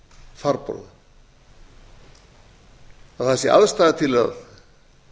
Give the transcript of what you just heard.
farborða að það sé aðstaða til að